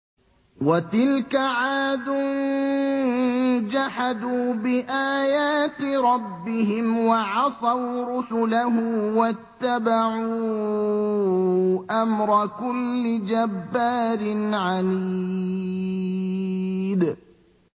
وَتِلْكَ عَادٌ ۖ جَحَدُوا بِآيَاتِ رَبِّهِمْ وَعَصَوْا رُسُلَهُ وَاتَّبَعُوا أَمْرَ كُلِّ جَبَّارٍ عَنِيدٍ